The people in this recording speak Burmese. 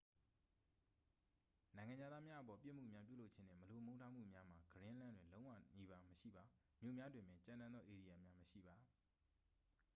"နိုင်ငံခြားသားများအပေါ် ပြစ်မှုများပြုလုပ်ခြင်းနှင့် မလိုမုန်းထားမှုများမှာ ဂရင်းလန်း တွင် လုံးဝနီးပါး မရှိပါ။ မြို့များတွင်ပင် "ကြမ်းတမ်းသော ဧရိယာများ" မရှိပါ။